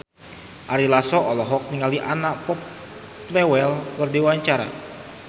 Ari Lasso olohok ningali Anna Popplewell keur diwawancara